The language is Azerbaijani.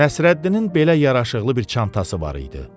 Nəsrəddinin belə yaraşıqlı bir çantası var idi.